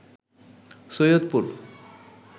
Saidpur